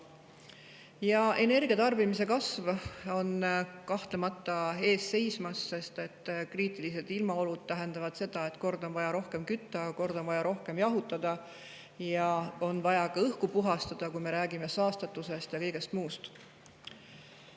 Ka energiatarbimise kasv on kahtlemata ees seismas, sest kriitilised ilmaolud tähendavad seda, et kord on vaja rohkem kütta, kord on vaja rohkem jahutada ja on vaja ka õhku puhastada, kui me räägime saastatusest ja kõigest muust.